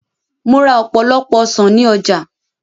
Mo ra ọ̀pọ̀lọpọ̀ ọsàn ní ọjà